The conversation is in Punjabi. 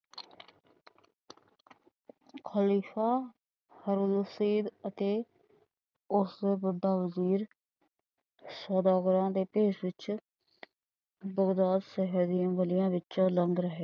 ਖ਼ਲੀਫ਼ਾ ਸੌਦਾਗਰਾਂ ਦੇ ਭੇਸ ਵਿੱਚ ਗੱਲੀਆ ਵਿੱਚੋ ਲੰਘ ਰਹੇ ਸੰਨ।